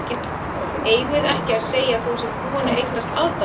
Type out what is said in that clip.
Eigum við ekki að segja að þú sért búinn að eignast aðdáanda!